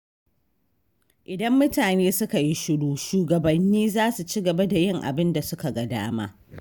Idan mutane suka yi shiru, shugabanni za su ci gaba da yin abin da suka ga dama.